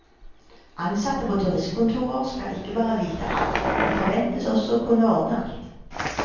Ansatte på turistkontorer skal ikke bare vite alt, de forventes også å kunne ordne alt.